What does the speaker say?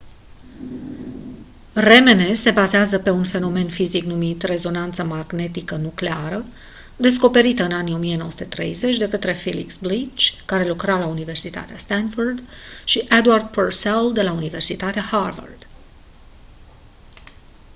rmn se bazează pe un fenomen fizic numit rezonanță magnetică nucleară rmn descoperită în anii 1930 de către felix blich care lucra la universitatea stanford și edward purcell de la universitatea harvard